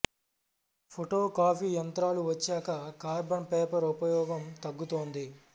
photo copy యంత్రాలు వచ్చాక carbon paper ఉపయౌగం తగ్గుతోంది